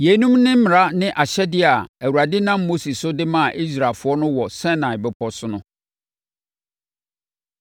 Yeinom ne mmara ne ahyɛdeɛ a Awurade nam Mose so de maa Israelfoɔ no wɔ Sinai Bepɔ so no.